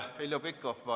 Heljo Pikhof, palun!